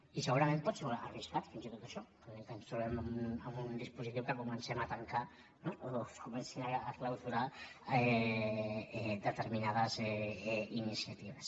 i segurament pot ser arriscat fins i tot això que ens trobem amb un dispositiu en què comencem a tancar o que es comencin a clausurar determinades iniciatives